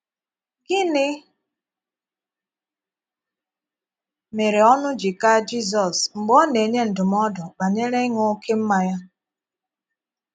Gịnị mére ọnụ̀ ji kaa Jizọs mgbe ọ na - enyé ndụmọdụ̀ banyere ịṅụ oké mmànya?